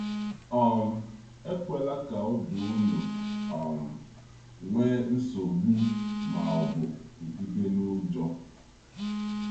um ‘Ekwela ka obi unu um nwee nsogbu ma ọ bụ kụgide n’ụjọ.’